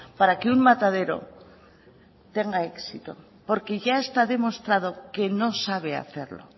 para que un matadero tenga éxito porque ya está demostrado que no sabe hacerlo